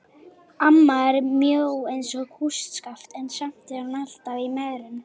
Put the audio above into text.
Amma er mjó eins og kústskaft en samt er hún alltaf í megrun.